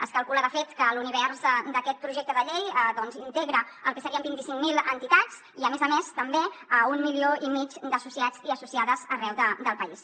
es calcula de fet que l’univers d’aquest projecte de llei integra el que serien vint cinc mil entitats i a més a més també un milió i mig d’associats i associades arreu del país